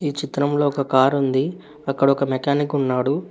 ఈ చిత్రంలో ఒక కారు ఉంది అక్కడ ఒక మెకానిక్ ఉన్నాడు.